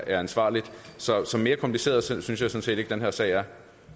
er ansvarligt så så mere kompliceret synes jeg sådan set ikke den her sag er